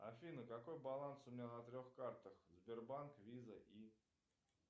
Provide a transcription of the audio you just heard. афина какой баланс у меня на трех картах сбербанк виза и